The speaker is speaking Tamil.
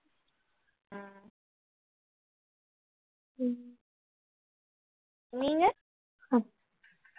உம் நீங்க